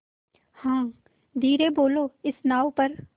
हाँ धीरे बोलो इस नाव पर